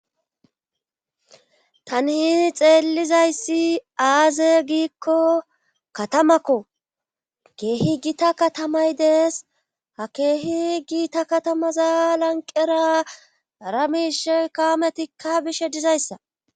Tani hiihi xeellizayssi aaze giikko katamakko keehi gita katamay dees ha keehi giita katamaza lanqera ramishe kaametikka bishe dizayssa.